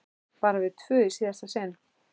Bara við tvö í síðasta sinn.